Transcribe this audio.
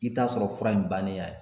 I t'a sɔrɔ fura in bannen